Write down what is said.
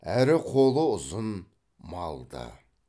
әрі қолы ұзын малды